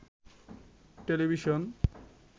television